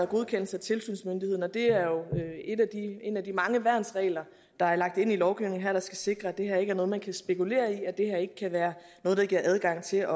godkendelse af tilsynsmyndigheden og det er jo en af de mange værnsregler der er lagt ind i lovgivningen der skal sikre at det her ikke er noget man kan spekulere i at det her ikke kan være noget der giver adgang til